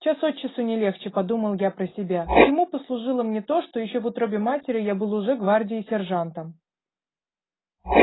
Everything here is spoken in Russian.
час от часу не легче подумал я про себя к чему послужило мне то что ещё в утробе матери я был уже гвардии сержантом